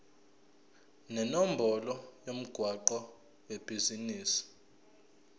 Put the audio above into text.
nenombolo yomgwaqo webhizinisi